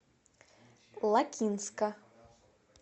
лакинска